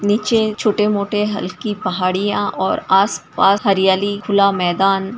नीचे छोटे मोटे हल्की पहाड़िया और आस पास हरियाली खुला मैदान --